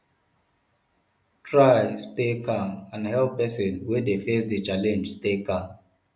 try stay calm and help persin wey de face di challenge stay calm